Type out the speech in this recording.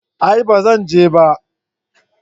A'a ban zan je ba